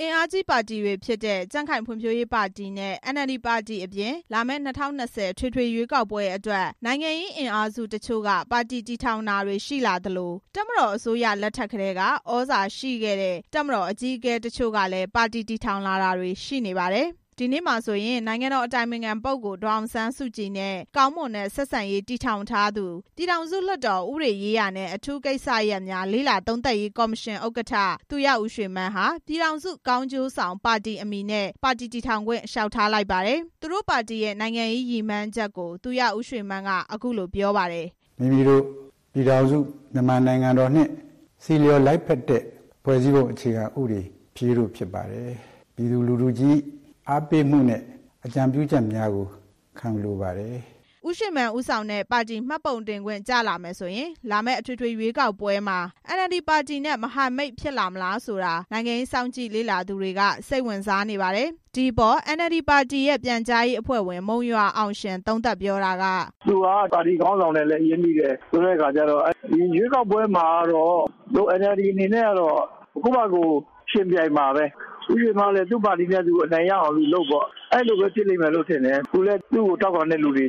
အင်အားကြီးပါတီတွေဖြစ်တဲ့ ကြံ့ခိုင်ဖွံ့ဖြိုးရေးပါတီနဲ့ အန်အယ်လ်ဒီပါတီတွေအပြင် လာမယ့် ၂၀၂၀ အထွေထွေရွေးကောက်ပွဲအတွက် နိုင်ငံရေးအင်အားစုတချို့က ပါတီတည်ထောင်တာတွေရှိလာသလို တပ်မတော် အစိုးရလက်ထက်ကတည်းက သြဇာရှိခဲ့တဲ့ တပ်မတော်အကြီးအကဲတချို့လည်း ပါတီတည်ထောင်လာတာတွေ ရှိနေပါတယ်။ ဒီနေ့မှာဆိုရင် နိုင်ငံတော်အတိုင်ပင်ခံပုဂ္ဂိုလ် ဒေါ်အောင်ဆန်းစုကြည်နဲ့ ကောင်းမွန်တဲ့ ဆက်ဆံရေးတည်ထောင် ထားသူ ပြည်ထောင်စုလွှတ်တော်ဥပဒေရေးရာနဲ့ အထူးကိစ္စရပ်များလေ့လာသုံးသပ်ရေးကော်မရှင် ဥက္ကဋ္ဌ သူရဦးရွှေမန်းဟာ ပြည်ထောင်စုကောင်းကျိုးဆောင်ပါတီ အမည်နဲ့ ပါတီတည်ထောင်ခွင့် လျှောက်ထားလိုက်ပါတယ်။ သူတို့ပါတီရဲ့ နိုင်ငံရေးရည်မှန်းချက်ကို သူရဦးရွှေမန်းက အခုလို ပြောခဲ့ပါတယ်။ “မိမိတို့ ပြည်ထောင်စုမြန်မာနိုင်ငံတော်နဲ့ ဆီလျော်လိုက်ဖက်တဲ့ ဖွဲ့စည်းပုံအခြေခံဥပဒေဖြစ်ရေးတို့ ဖြစ်ပါတယ်။ ပြည်သူလူထုကြီး အားပေးမှုနဲ့ အကြံပြုချက်များကို ခံယူလိုပါတယ်။” ဦးရွှေမန်းဦးဆောင်တဲ့ ပါတီမှတ်ပုံတင်ခွင့်ကျမယ်ဆိုရင် လာမယ့်အထွေထွေရွေးကောက်ပွဲမှာ အန်အယ်လ်ဒီပါတီနဲ့ မဟာမိတ်ဖြစ်လာမလားဆိုတာ နိုင်ငံရေးစောင့်ကြည့် လေ့လာသူတွေ က စိတ်ဝင်စားနေကြပါတယ်။ ဒီအပေါ် အန်အယ်လ်ဒီပါတီရဲ့ ပြန်ကြားရေးအဖွဲ့ဝင် မုံရွာအောင်ရှင် သုံးသပ်ပြောတာက “သူကပါတီခေါင်းဆောင်နဲ့လည်း ရင်းနှီးတယ်။ ရွေးကောက်ပွဲမှာတော့ အန်အယ်လ်ဒီပါတီအနေနဲ့က ကိုယ့် ဘာကိုယ် ယှဉ်ပြိုင်မှာပဲ။ ဦးရွှေမန်းကလည်း သူပါတီနဲ့သူ အနိုင်ရအောင်လုပ်ပေါ့။ အဲလိုပဲ ဖြစ်လိမ့်မယ်ထင် တယ်။ သူလည်း သူ့ကို ထောက်ခံတဲ့သူတွေ၊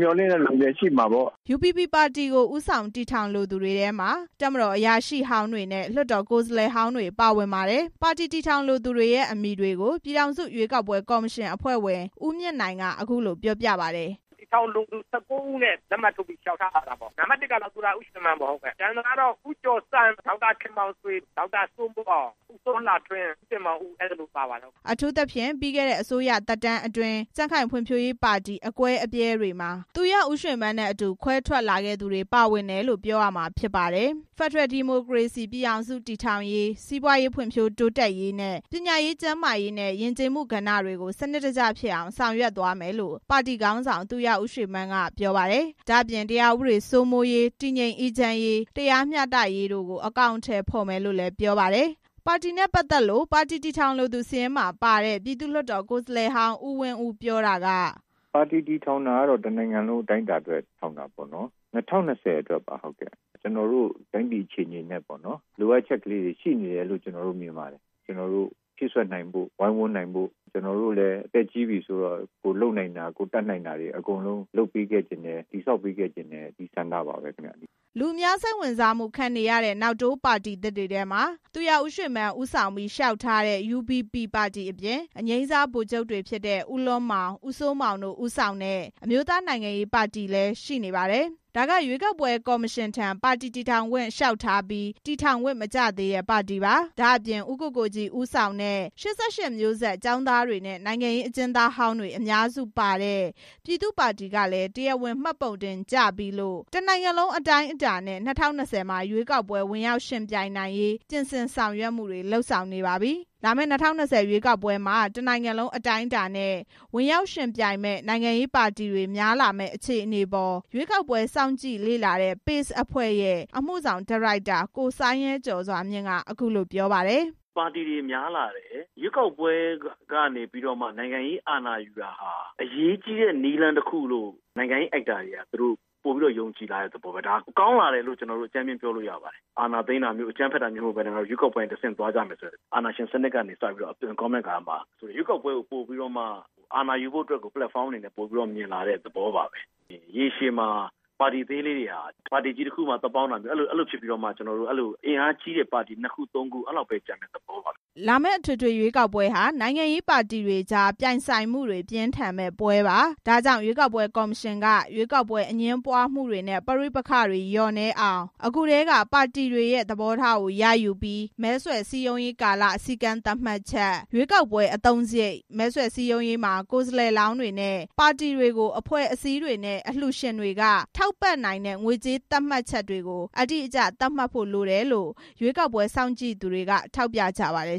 မျှော်လင့်တဲ့သူတွေရှိမှာပေါ့။” UBP ပါတီကို ဦးဆောင်တည်ထောင်လိုသူတွေမှာ တပ်မတော်အရာရှိဟောင်းတွေနဲ့ လွှတ်တော်ကိုယ်စား လှယ်ဟောင်းတွေ ပါဝင်ပါတယ်။ ပါတီတည်ထောင်လိုသူတွေရဲ့ အမည်တွေကို ပြည်ထောင်စုရွေးကောက်ပွဲကေ်ာမရှင် အဖွဲ့ဝင် ဦးမြင့်နိုင် က အခုလိုပြောပြပါတယ်။ “ပါတီတည်ထောင်လိုသူ ၁၉ ဦးနဲ့ လက်မှတ်ရေးထိုးပြီး လျှောက်ထားလာတာပေါ့။ နံပါတ် ၁ ကတော့ ဦးရွှေမန်းပေါ့။ ကျန်တာကတော့ ဦးကျော်စန်း၊ ဒေါက်တာခင်မောင်ဆွေ၊ ဒေါက်တာစိုးမိုးအောင်၊ ဦးစောလှထွန်း၊ ဦးတင်မောင်ဦး အဲလိုပါပါတယ်။” အထူးသဖြင့် ပြီးခဲ့တဲ့အစိုးရသက်တမ်းအတွင်း ကြံ့ခိုင်ဖံ့ွဖြိုးရေးပါတီ အကွဲအပြဲတွေမှာ သူရဦးရွှေမန်းနဲ့အတူ ခွဲထွက်လာခဲ့သူတွေ ပါဝင်တယ်လို့ ပြောရမှာဖြစ်ပါတယ်။ UBP ပါတီတည်ထောင်ခွင့်ရရင် ဖက်ဒရယ်ဒီမိုကရေစီပြည်ထောင်စုတည်ထောင်ရေး၊ စီးပွားရေး ဖွံ့ဖြိုးတိုးတက်ရေးနဲ့ ပညာရေး၊ ကျန်းမာရေးနဲ့ ယဉ်ကျေးမှုကဏ္ဍတွေကို စနစ်တကျဖြစ်အောင် ဆောင်ရွက်သွားမယ်လို့ ပါတီခေါင်းဆောင် သူရဦးရွှေမန်း က ပြောပါတယ်။ ဒါ့အပြင် တရားဥပဒေစိုးမိုးရေး၊ တည်ငြိမ်အေးချမ်းရေး၊ တရားမျှတရေးတို့ကို အကောင်အထည်ဖော်မယ်လို့လည်း ပြောပါတယ်။ ပါတီတည်ထောင်လိုသူစာရင်းမှာပါတဲ့ ပြည်သူ့လွှတ်တော်ကိုယ်စားလှယ်ဟောင်း ဦးဝင်းဦးက အခုလိုပြောပါတယ်။ “ပါတီတည်ထောင်တာကတော့ တစ်နိုင်ငံလုံးအတိုင်းအတာနဲ့ တည်ထောင်တာပေါ့။ ၂၀၂၀ အတွက်ပါ ကျနော်တို့ တိုင်းပြည်အခြေအနေနဲ့ လိုအပ်ချက်လေးတွေရှိနေတယ်လို့ ကျနော်တို့ မြင်ပါတယ်။ ကျနော်တို့ ဖြည့်စွက်နိုင်ဖို့ ဝိုင်းဝန်းနိုင်ဖို့၊ ကျနော်တို့လည်း အသက်ကြီးပြီဆိုတော့ ကိုယ်လုပ်နိုင်တာတွေ ကိုယ်တက်နိုင်တာတွေ အကုန်လုံးလုပ်ပေးခဲ့ချင်တယ်။ တည်ဆောက်ပေးခဲ့ချင်တဲ့ ဆန္ဒပါပဲ ခင်ဗျ။” လူအများစိတ်ဝင်စားမှုခံရတဲ့ နောက်တိုး ပါတီသစ်တွေထဲမှာ သူရဦးရွှေမန်းဦးဆောင်ပြီး လျှောက်ထားတဲ့ UBP ပါတီအပြင် အငြိမ်းစားဗိုလ်ချုပ်တွေဖြစ်တဲ့ ဦးလွန်းမောင်၊ ဦးစိုးမောင်တို့ ဦးဆောင်တဲ့ အမျိုးသားနိုင်ငံရေးပါတီလည်း ရှိနေပါတယ်။ ဒါက ရွေးကောက်ပွဲ ကော်မရှင်ထံ ပါတီတည်ထောင်ခွင့် လျှောက်ထားပြီး တည်ထောင်ခွင့် မကျသေးတဲ့ ပါတီပါ။ ဒါ့အပြင် ဦးကိုကိုကြီး ဦးဆောင်တဲ့ ၈၈ မျိုးဆက်ကျောင်းသားတွေနဲ့ နိုင်ငံရေးအကျဉ်းသားဟောင်းတွေ အများစု ပါဝင်တဲ့ ပြည်သူ့ပါတီက တရားဝင်ပါတီမှတ်ပုံတင်ကျပြီးလို့ တနိုင်ငံလုံး အတိုင်းအတာနဲ့ ၂၀၂၀ မှာရွေးကောက်ပွဲ ဝင်ရောက်ယှဉ်ပြိုင်နိုင်ရေး ပြင်ဆင်ဆောင်ရွက်မှုတွေ လုပ်ဆောင်နေပါပြီ။ လာမယ့် ၂၀၂၀ အထွေထွေရွေးကောက်ပွဲမှာ တနိုင်ငံလုံး အတိုင်းအတာနဲ့ ဝင်ရောက်ယှဉ်ပြိုင်မယ့် နိုင်ငံရေး ပါတီတွေများလာမယ့် အခြေအနေအပေါ် ရွေးကောက်ပွဲစောင့်ကြည့်လေ့လာတဲ့ PACE အဖွဲ့ရဲ့ အမှု ဆောင် ဒါရိုက်တာ ကိုစိုင်းရဲကျော်စွာမြင့် ပြောတာက… “ပါတီတွေများလာတယ်။ ရွေးကောက်ပွဲကနေပြီးတော့မှ နိုင်ငံရေးအာဏာယူတာဟာ အရေးကြီးတဲ့ နည်းလမ်း တစ်ခုလို့ နိုင်ငံရေး actors တွေက ပိုပြီးတော့မှ ယုံကြည်လာတဲ့သဘောပဲ ဒါကောင်းလာတယ်လို့ အကြမ်း ဖျဉ်းပြောလို့ ရပါတယ်။ အာဏာသိမ်းတာမျိုး၊ အကြမ်းဖက်တာမျိုးမဟုတ်ဘဲ ငါတို့ ရွေးကောက်ပွဲကတဆင့် သွားကြမယ်ဆိုတာ အာဏာရှင်စနစ်ကနေပြီး အသွင်ပြောင်းတဲ့ကာလမှာ ရွေးကောက်ပွဲကို ပလက်ဖောင်း အနေနဲ့ ပိုပြီးတော့ မြင်လာတဲ့ သဘောပါပဲ။ ရေရှည်မှာ ပါတီသေးလေး တွေဟာ ပါတီကြီးတစ်ခုမှာ သွားပေါင်းပြီး အင်အားကြီး ပါတီကြီး ၂ ခု ၃ ခုအဲလောက်ပဲ ကျန်မယ့် သဘောပါ။” လာမယ့် အထွေထွေရွေးကောက်ပွဲဟာ နိုင်ငံရေးပါတီတွေကြား ပြိုင်ဆိုင်မှုတွေ ပြင်းထန်မယ့်ပွဲပါ။ ဒါ့ကြောင့် ရွေးကောက်ပွဲကော်မရှင်က ရွေးကောက်ပွဲအငြင်းပွားမှုတွေနဲ့ ပဋိပက္ခတွေ လျော့နည်းအောင် အခုထဲက ပါတီတွေရဲ့ သဘောထားရယူပြီး မဲဆွယ်စည်းရုံးရေးကာလ စည်းကမ်းသတ်မှတ်ချက်၊ ရွေးကောက်ပွဲအသုံးစားရိတ်၊ မဲဆွယ်စည်းရုံးရေးမှာ ကိုယ်စားလှယ်လောင်းတွေနဲ့ ပါတီတွေကို အဖွဲ့အစည်းတွေနဲ့ အလှူရှင်တွေက ထောက်ပံ့နိုင်တဲ့ ငွေကြေးသတ်မှတ်ချက်တွေကို အတိအကျ သတ်မှတ်ဖို့လိုတယ်လို့လည်း ရွေးကောက် ပွဲစောင့်ကြည့်သူတွေက ပြောကြပါတယ်။